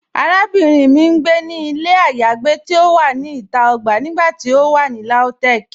Àràbìnrin mì n gbé ní ilẹ̀ ayéagbé ti o wà ní ìtà ogbà nígbàtí o wà ní Lautech.